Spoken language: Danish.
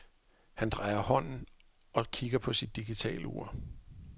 Han drejer hånden og kigger på sit digitalur.